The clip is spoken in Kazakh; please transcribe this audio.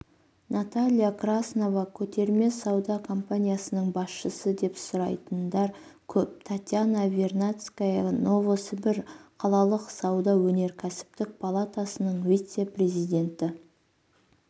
наталья краснова көтерме сауда компаниясының басшысы деп сұрайтындар көп татьяна вернадская новосібір қалалық сауда-өнеркәсіптік палатасының вице-президенті